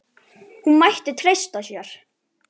Hún mætti treysta sér.